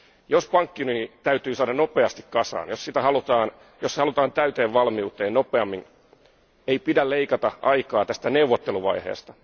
Jos pankkiunioni täytyy saada nopeasti kasaan, jos se halutaan täyteen valmiuteen nopeammin, ei pidä leikata aikaa tästä neuvotteluvaiheesta.